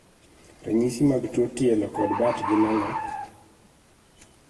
Ranyisi mag tuo tielo kod bat gin ang'o?